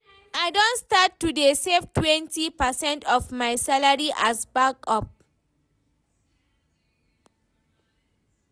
I don start to dey save twenty percent of my salary as backup